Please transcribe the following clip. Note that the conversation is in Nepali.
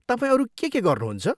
तपाईँ अरू के के गर्नुहुन्छ?